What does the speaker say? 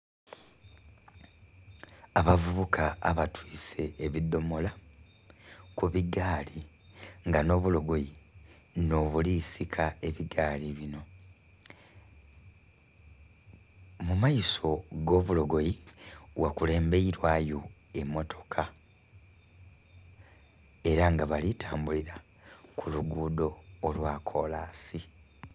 Abavubuka abatwise ebidhomola kubigaali nga nhobulogoyi nhobulisika ebigaali bino. Mumaiso agobulogoyi ghakulemberwayo emmotoka era nga balitambulira kulugudho lwakolansi.